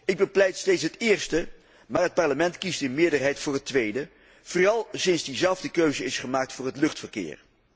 Ik bepleit steeds het eerste, maar het Parlement kiest in meerderheid voor het tweede, vooral sinds diezelfde keuze is gemaakt voor het luchtverkeer.